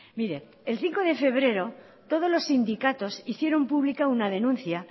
mire el cinco de febrero todos los sindicatos hicieron pública una denuncia